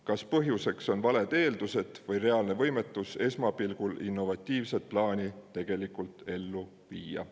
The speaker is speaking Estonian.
Kas põhjuseks on valed eeldused või reaalne võimetus esmapilgul innovatiivset plaani tegelikult ellu viia?